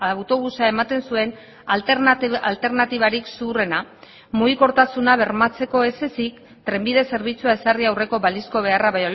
autobusa ematen zuen alternatibarik zuhurrena mugikortasuna bermatzeko ez ezik trenbide zerbitzua ezarri aurreko balizko beharra